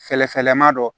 Fɛɛrɛfɛlɛman dɔ